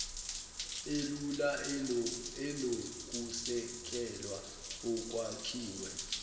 elula enokusekelwa okwakhiwe